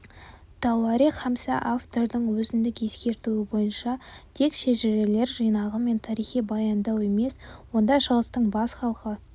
тауарих хамса автордың өзіндік ескертуі бойынша тек шежірелер жинағы мен тарихи баяндау емес онда шығыстың бес халқы